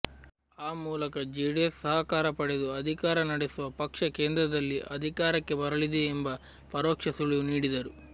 ಆ ಮೂಲಕ ಜೆಡಿಎಸ್ ಸಹಕಾರ ಪಡೆದು ಅಧಿಕಾರ ನಡೆಸುವ ಪಕ್ಷ ಕೇಂದ್ರದಲ್ಲಿ ಅಧಿಕಾರಕ್ಕೆ ಬರಲಿದೆ ಎಂಬ ಪರೋಕ್ಷ ಸುಳಿವು ನೀಡಿದರು